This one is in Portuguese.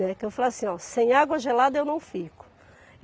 Né. Que eu falo assim, oh, sem água gelada eu não fico.